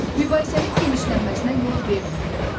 Mübahisənin genişlənməsinə yol verməməli.